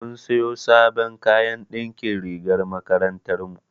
Mun siyo sabon kayan na ɗinkin rigar makarantar mu.